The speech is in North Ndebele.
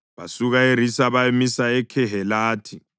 Basuka eRisa bayamisa eKhehelatha.